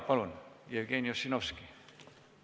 Palun, Jevgeni Ossinovski!